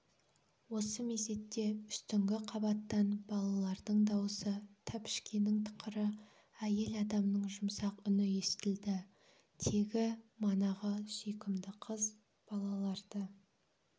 осы мезетте үстіңгі қабаттан балалардың дауысы тәпішкенің тықыры әйел адамның жұмсақ үні естілді тегі манағы сүйкімді қыз балаларды